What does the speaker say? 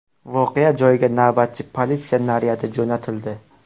Voqea joyiga navbatchi politsiya naryadi jo‘natildi.